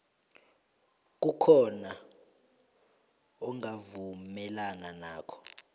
kukhona ongavumelani nakho